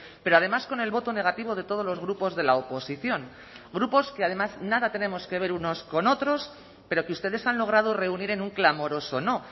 pero además con el voto negativo de todos los grupos de la oposición grupos que además nada tenemos que ver unos con otros pero que ustedes han logrado reunir en un clamoroso no